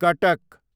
कटक